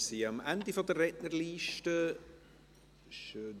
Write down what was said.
Wir sind am Ende der Rednerliste angelangt.